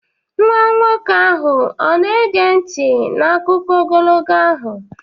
Nwa nwoke ahụ ọ na-ege nti n'akụkọ ogologo ahụ?